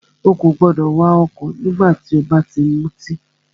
Ó kò gbọdọ̀ wà ọ̀kọ̀ nígbà tí o bá ti mutí!